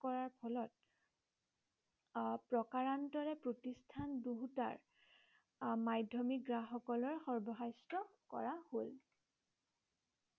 কৰাৰ ফলত প্ৰকাৰন্তৰে প্ৰতিষ্ঠান দুয়োটাৰ মাধ্যমিক গ্ৰাহক সকলৰ সৰ্বহস্ত কৰা হল।